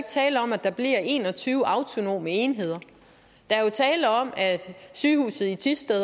tale om at der bliver en og tyve autonome enheder der er tale om at sygehuset i thisted